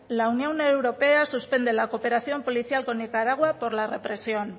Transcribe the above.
la unión europea suspende la cooperación policial con nicaragua por la represión